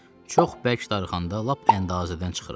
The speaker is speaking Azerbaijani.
Çox bərk darıxanda lap əndazədən çıxıram.